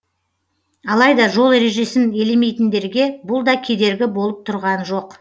алайда жол ережесін елемейтіндерге бұл да кедергі болып тұрған жоқ